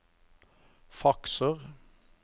fakser